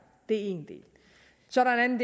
det er en del så er der en